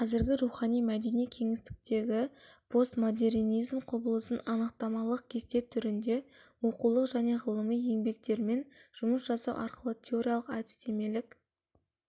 қазіргі рухани-мәдени кеңістіктегі постмодернизм құбылысын анықтамалық кесте түрінде оқулық және ғылыми еңбектермен жұмыс жасау арқылы теориялық-әдістемелік